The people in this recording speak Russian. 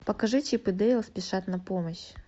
покажи чип и дейл спешат на помощь